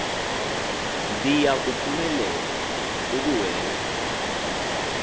ndiya kuphumelela ukuwenza